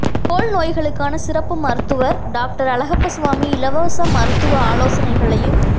தோல் நோய்களுக்கான சிறப்பு மருத்துவர் டாக்டர் அழகப்பசுவாமி இலவச மருத்துவ ஆலோசனைகளையும்